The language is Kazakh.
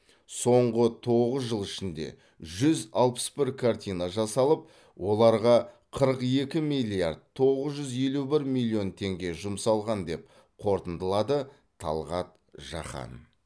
соңғы тоғыз жыл ішінде жүз алпыс бір картина жасалып оларға қырық екі миллиард тоғыз жүз елу бір миллион теңге жұмсалған деп қорытындылады талғат жақан